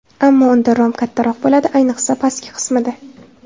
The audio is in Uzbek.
Ammo unda rom kattaroq bo‘ladi, ayniqsa pastki qismida.